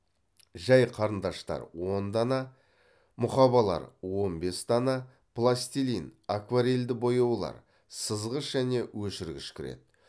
жай қарындаштар он дана мұқабалар он бес дана пластилин акварельді бояулар сызғыш және өшіргіш кіреді